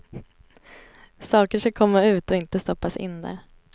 Saker ska komma ut och inte stoppas in där.